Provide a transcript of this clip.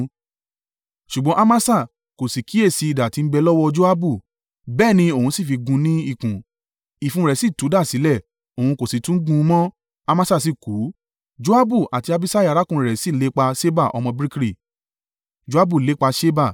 Ṣùgbọ́n Amasa kò sì kíyèsi idà tí ń bẹ lọ́wọ́ Joabu, bẹ́ẹ̀ ni òun sì fi gún un ní ikùn, ìfun rẹ̀ sì tú dà sílẹ̀, òun kò sì tún gún un mọ́, Amasa sì kú. Joabu àti Abiṣai arákùnrin rẹ̀ sì lépa Ṣeba ọmọ Bikri.